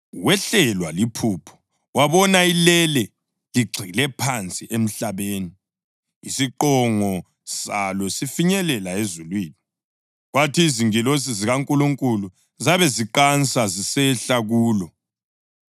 Wehlelwa liphupho wabona ilele ligxile phansi emhlabeni, isiqongo salo sifinyelela ezulwini, kwathi izingilosi zikaNkulunkulu zabe ziqansa zisehla kulo.